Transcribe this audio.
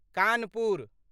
Kanpur